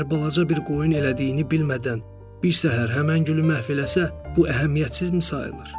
Əgər balaca bir qoyun elədiyini bilmədən bir səhər həmən gülü məhv eləsə, bu əhəmiyyətsizmi sayılır?